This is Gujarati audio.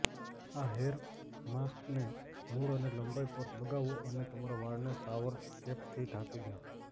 આ હેર માસ્કને મૂળ અને લંબાઈ પર લગાવો અને તમારા વાળને શાવર કેપથીઢાંકી દો